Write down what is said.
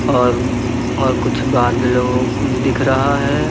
और और कुछ बादलों भी दिख रहा है।